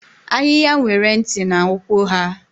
Ahịhịa nwere ntị na ụkwụ ha.